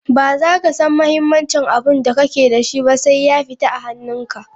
Ba za ka san muhimincin abinda kake da shi ba, sai ya fita a hanun ka.